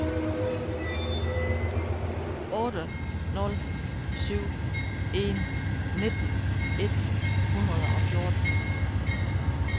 otte nul syv en nitten et hundrede og fjorten